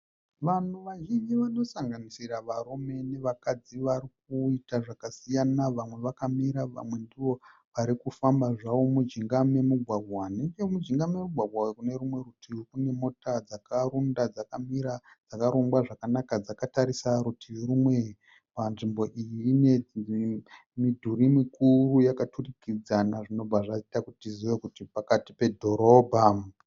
Vanhu vazhinji vanosanganisira varume nevakadzi vari kuita zvakasiyana vamwe vakamira vamwe ndivo varikufamba zvavo mujinga memugwagwa nechomujinga memugwagwa uyu kune rumwe rutivi kune mota dzakarunda dzakamira dzakarongwa zvakanaka dzakatarisa rutivi rumwe panzvimbo iyi ine midhuri mikuru yakaturikidzana zvinobva zvaita kuti tizive kuti pakati pe dhorobha.